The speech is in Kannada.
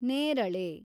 ನೇರಳೆ